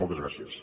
moltes gràcies